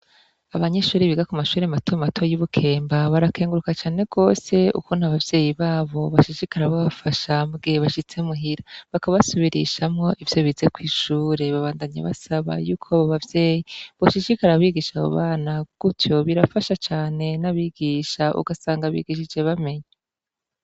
Abanyeshure biga kumashuri matomato y'ibukemba barakenguruka cane gose ukuntu abavyeyi babo bashishikara babafasha mugihe bashitse muhira bakabasubirishamwo ivyo bize kw'ishure babandanya basaba yuko abo bavyeyi boshishikara bigisha abo bana gutyo birafasha cane n'abigisha ugasanga bigishije bamenya.